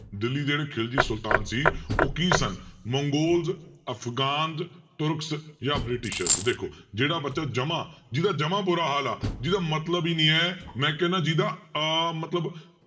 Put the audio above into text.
ਦਿੱਲੀ ਜਿਹੜੇ ਖਿਲਜੀ ਸੁਲਤਾਨ ਸੀ ਉਹ ਕੀ ਸਨ ਮੰਗੋਲਜ, ਅਫਗਾਨਜ, ਤੁਰਕਸ ਜਾਂ ਬ੍ਰਿਟੀਸ਼ਰਜ ਦੇਖੋ ਜਿਹੜਾ ਬੱਚਾ ਜਮਾ ਜਿਹਦਾ ਜਮਾ ਬੁਰਾ ਹਾਲ ਆ ਜਿਹਦਾ ਮਤਲਬ ਹੀ ਨੀ ਹੈ ਮੈਂ ਕਹਿਨਾ ਜਿਹਦਾ ਅਹ ਮਤਲਬ